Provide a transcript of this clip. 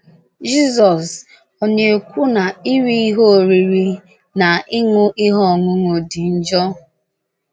Jizọs, ọ̀ na - ekwu na iri ihe oriri na ịṅụ ihe ọṅụṅụ dị njọ?